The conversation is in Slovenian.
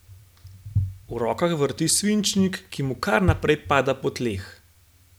V rokah vrti svinčnik, ki mu kar naprej pada po tleh.